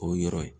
O yɔrɔ ye